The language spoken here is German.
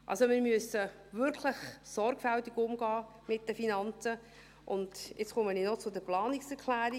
Also, wir müssen wirklich sorgfältig umgehen mit den Finanzen, und jetzt komme ich noch zu den Planungserklärungen.